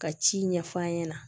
Ka ci ɲɛf'a ɲɛna